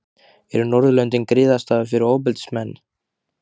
Eru Norðurlöndin griðastaður fyrir ofbeldismenn?